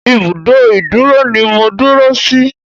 Ìbùdó ìdúró ni mo dúró sí.